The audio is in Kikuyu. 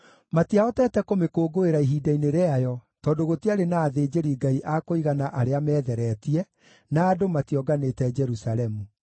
Matiahotete kũmĩkũngũĩra ihinda-inĩ rĩayo tondũ gũtiarĩ na athĩnjĩri-Ngai a kũigana arĩa meetheretie, na andũ mationganĩte Jerusalemu.